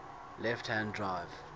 left hand drive